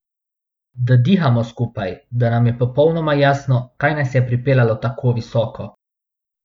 Da dihamo skupaj, da nam je popolnoma jasno, kaj naj je pripeljalo tako visoko.